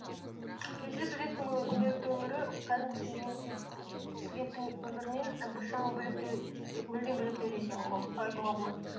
пиэйчди студенттің күнделікті өмірі кәдімгі студенттің өмірінен і біршама бөлектеу мүлдем бөлек деп айтуға болады